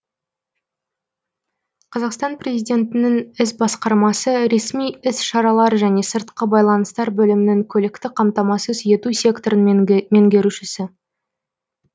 қазақстан президентінің іс басқармасы ресми іс шаралар және сыртқы байланыстар бөлімінің көліктік қамтамасыз ету секторының меңгерушісі